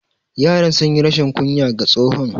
Yaran sunyi rashin kunya ga tsohon.